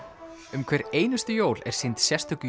um hver einustu jól er sýnd sérstök